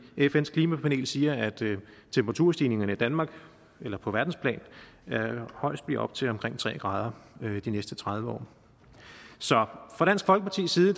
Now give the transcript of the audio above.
fns klimapanel siger at temperaturstigningerne i danmark eller på verdensplan højst bliver op til omkring tre grader de næste tredive år så fra dansk folkepartis side